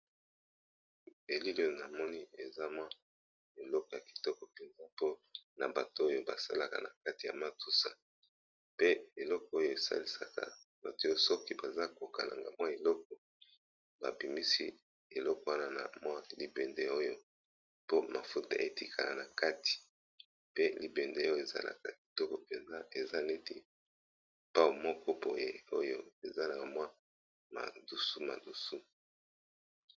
elile na moni eza mwa eloko ya kitoko mpenza mpo na bato oyo basalaka na kati ya matusa pe eloko oyo esalisaka batoya soki baza kokalanga mwa eloko babimisi eloko wana na mwa libende oyo po mafuta etikana na kati pe libende oyo ezalaka kitoko mpenz eza neti pao moko poye oyo eza na mwa madusu madusu